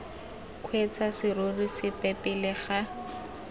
kgweetsa serori sepe pele ga